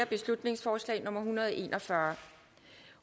beslutningsforslag nummer hundrede og en og fyrre